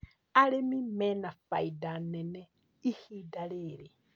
Arĩmi mena faida nene ihinda rĩrĩ